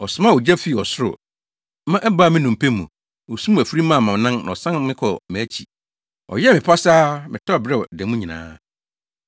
“Ɔsomaa ogya fii ɔsoro, ma ɛbaa me nnompe mu. Osum afiri maa mʼanan na ɔsan me kɔɔ mʼakyi. Ɔyɛɛ me pasaa, metɔɔ beraw da mu nyinaa.